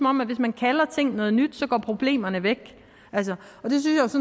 om at hvis man kalder ting noget nyt går problemerne væk